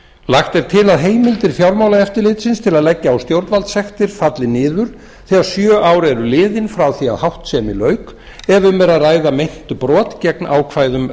lagt er til að heimildir fjármálaeftirlitsins til að leggja á stjórnvaldssektir falli niður þegar sjö ár eru liðin frá því að háttsemi lauk ef um er að ræða meint brot gegn ákvæðum